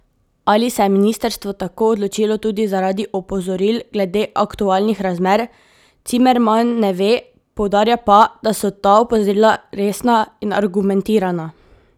Ali se je ministrstvo tako odločilo tudi zaradi opozoril glede aktualnih razmer, Cimerman ne ve, poudarja pa, da so ta opozorila resna in argumentirana.